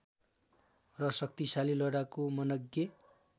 र शक्तिशाली लडाकु मनग्ये